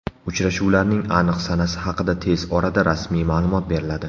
Uchrashuvlarning aniq sanasi haqida tez orada rasmiy ma’lumot beriladi.